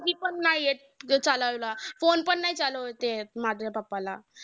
Phone नाही येत. ते phone पण नाही चालवता येत. माझ्या pappa ला